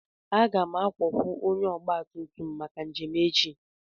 Aga m akwụkwọ onye ọgba tum tum maka njem echi.